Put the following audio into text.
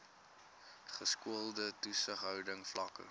geskoolde toesighouding vlakke